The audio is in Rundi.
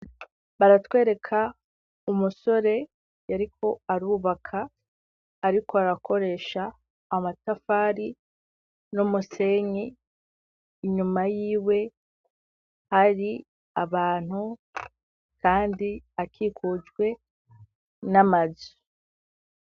baratwereka umusore yariko arubaka, ariko arakoresha amatafari n'umusenyi inyuma y'iwe hari abantu kandi akikujwe n'amazu.